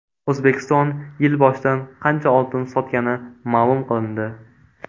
O‘zbekiston yil boshidan qancha oltin sotgani ma’lum qilindi.